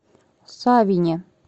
савине